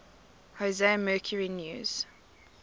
jose mercury news